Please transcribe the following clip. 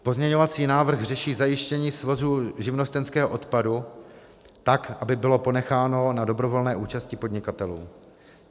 Pozměňovací návrh řeší zajištění svozu živnostenského odpadu tak, aby bylo ponecháno na dobrovolné účasti podnikatelů.